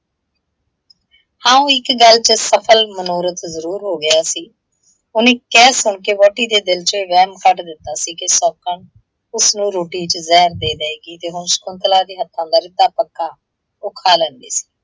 ਹਾਂ, ਉਹ ਇੱਕ ਗੱਲ ਚ ਸਫ਼ਲ ਮਨੋਰਥ ਜ਼ਰੂਰ ਹੋ ਗਿਆ ਸੀ। ਉਹਨੇ ਕਹਿ ਸੁਣ ਕੇ ਵਹੁਟੀ ਦੇ ਦਿੱਲ ਚੋਂ ਇਹ ਵਹਿਮ ਕੱਢ ਦਿੱਤਾ ਸੀ ਕਿ ਸੌਂਕਣ ਉਸਨੂੰ ਰੋਟੀ ਚ ਜ਼ਹਿਰ ਦੇ ਦਏਗੀ, ਤੇ ਹੁਣ ਸ਼ਕੁੰਤਲਾ ਦੇ ਹੱਥਾਂ ਦਾ ਰਿੱਧਾ ਪੱਕਾ ਉਹ ਖਾ ਲੈਂਦੀ ਸੀ।